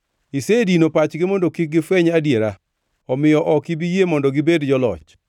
Isedino pachgi mondo kik gifweny adiera; omiyo ok ibi yie mondo gibed joloch.